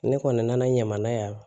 Ne kɔni nana ɲaman yan